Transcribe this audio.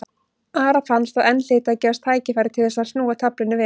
Ara fannst að enn hlyti að gefast tækifæri til þess að snúa taflinu við.